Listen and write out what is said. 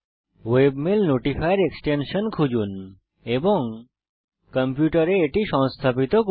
webmail notifier extension খুজুন এবং আপনার কম্পিউটারে এটি সংস্থাপিত করুন